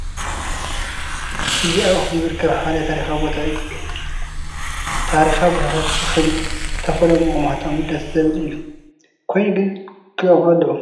እዚ ኣብ ኣኽሱም ዝርከብ ሓደ ታሪካዊ ቦታ እዩ፡፡ ታሪካዊ ቦታታት ብኸምዚ ተፈልዮም ምቕማጦም ደስ ዝብል እዩ፡፡ ኮይኑ ግን ክለምዑ ኣለዎም፡፡